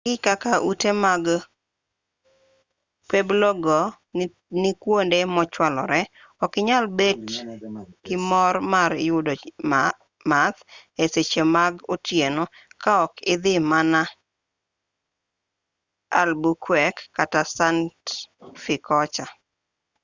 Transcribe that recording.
kaluwore gi kaka ute mag pueblo go ni kwonde mochwalore okinyal bet gi mor mar yudo math e seche mag otieno kaok idhi mana albuquerque kata santa fe kocha